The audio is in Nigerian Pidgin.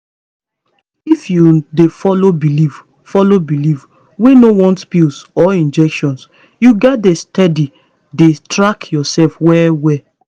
if you dey follow belief follow belief wey no want pills or injectionyou gats dey steady dey track yourself well well